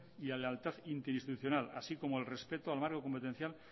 y la lealtad interinstitucional así como el respeto al marco competencial